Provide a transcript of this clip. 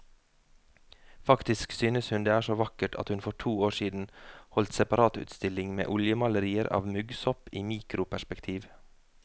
Faktisk synes hun det er så vakkert at hun for to år siden holdt separatutstilling med oljemalerier av muggsopp i mikroperspektiv.